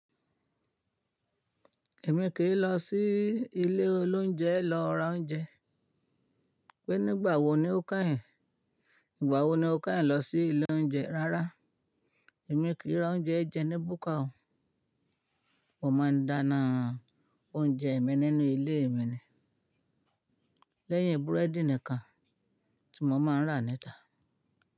Èmi kìí lọ sí ilé oloúnjẹ lọ ra oúnjẹ. Pé nígbà wo ni o kà ẹ̀? Ìgbà wo ni o kà ẹ̀ lọ sí ilé oúnjẹ? Rárá, èmi kì í ra oúnjẹ jẹ ní búkà o. Mo máa ń dáná oúnjẹ mi nínú ilé mi ni. Lẹ́yìn búrẹ́dì nìkan tí mo máa ń rà níta.